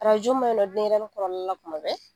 ma na la denyɛrɛni kɔrɔla la kuma bɛɛ